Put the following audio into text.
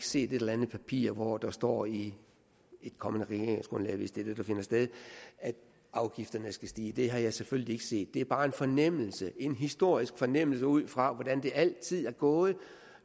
set et eller andet papir hvor der står i et kommende regeringsgrundlag hvis det er det der finder sted at afgifterne skal stige det har jeg selvfølgelig ikke set det er bare en fornemmelse en historisk fornemmelse ud fra hvordan det altid går